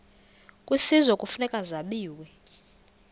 kwisizwe kufuneka zabiwe